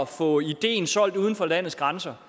få ideen solgt uden for landets grænser